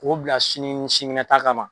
K'o bila sini ni sinikɛnɛ ta kama.